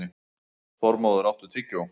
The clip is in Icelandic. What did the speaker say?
Þormóður, áttu tyggjó?